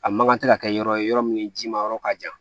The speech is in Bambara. A mankan tɛ ka kɛ yɔrɔ ye yɔrɔ min jima yɔrɔ ka jan